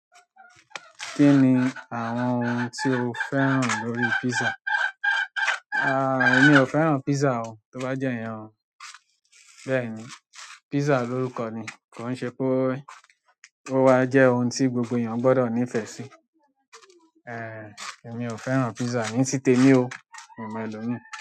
Kí ni àwọn ohun tí o fẹ́ràn lórí pizza? Èmi ò fẹ́ràn pizza o. Tí ó bá jẹ́ ìyẹn, bẹ́ẹ̀ni, pizza lórúkọ ni, kò ṣe pé ó wa jẹ́ ohun tí gbogbo èèyàn gbọdọ nífẹ̀ẹ́ sí. Èmi ò fẹ́ràn pizza, ní ti tèmi o, mi o mọ elomii.